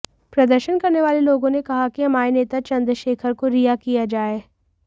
प्रदर्शन करने वाले लोगों ने कहा कि हमारे नेता चंद्रशेखर को रिहा किया जाए